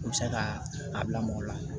U bɛ se ka a bila mɔgɔ la